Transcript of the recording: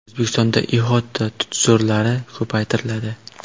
O‘zbekistonda ihota tutzorlari ko‘paytiriladi.